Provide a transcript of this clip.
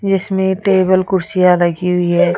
इसमें टेबल कुर्सियां लगी हुई है।